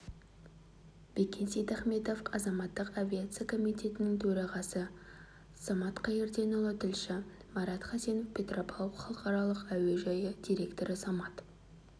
бекен сейдахметов азаматтық авиация комитетінің төрағасы самат қайырденұлы тілші марат хасенов петропавл халықаралық әуежайы директоры самат